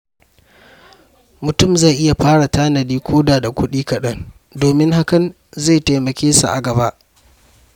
Mutum zai iya fara tanadi koda da kuɗi kaɗan domin hakan zai taimake sa a gaba.